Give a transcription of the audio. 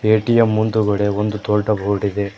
ATM ಮುಂದುಗಡೆ ಒಂದು ದೊಡ್ಡ ಬೋರ್ಡ್ ಇದೆ.